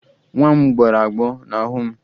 Nwa m gbọrọ agbọ n'ahụ m